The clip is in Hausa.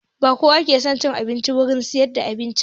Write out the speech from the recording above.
Ba kowa ke son cin abinci a wurin siyar da abinci ba